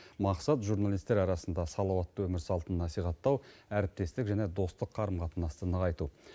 мақсат журналисттер арасында салауатты өмір салтын насихаттау әріптестік және достық қарым қатынасты нығайту